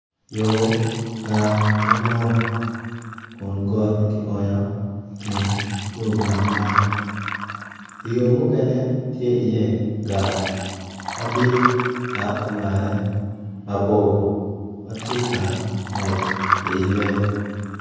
Yo gar madwong kun got kionyo i kin yo gar man yo mukene tye i ye gar madit tap oywane mabor tye ka ngwec i ye.